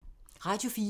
Radio 4